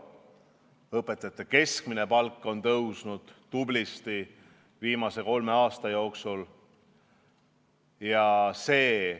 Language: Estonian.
Õpetajate keskmine palk on viimase kolme aasta jooksul tublisti tõusnud.